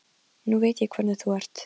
Nú veit ég hvernig þú ert!